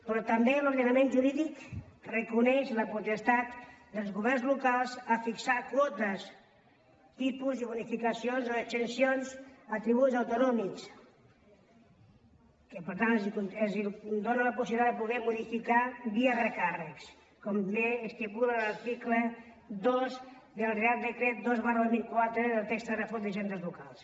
però també l’ordenament jurídic reconeix la potestat dels governs locals a fixar quotes tipus i bonificacions o exempcions a tributs autonòmics que per tant els dóna la possibilitat de poder modificar los via recàrrecs com bé estipula l’article dos del reial decret dos dos mil catorze del text refós d’hisendes locals